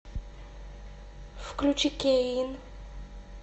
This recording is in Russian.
включи кейн